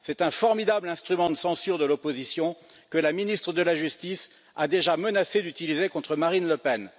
C'est un formidable instrument de censure de l'opposition, que la ministre de la justice a déjà menacé d'utiliser contre Marine Le Pen.